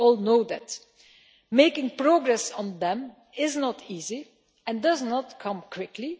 We all know that. Making progress on them is not easy and does not come quickly.